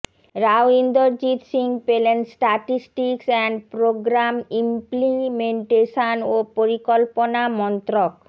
রাও ইন্দরজিত সিং পেলেন statistics and programme implementation ও পরিকল্পনা মন্ত্রক